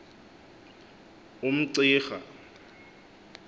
umcirha